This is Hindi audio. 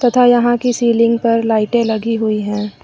तथा यहां की सीलिंग पर लाइटें लगी हुई है।